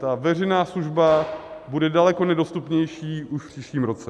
Ta veřejná služba bude daleko nedostupnější už v příštím roce.